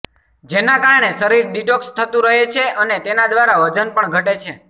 જેના કારણે શરીર ડિટોક્સ થતું રહે છે અને તેના દ્વારા વજન પણ ઘટે છે